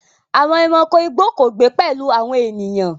Àwọn ẹranko igbó kò gbé pẹ̀lú àwọn ènìyàn.